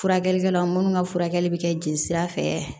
Furakɛlikɛla munnu ka furakɛli bɛ kɛ jelisira fɛ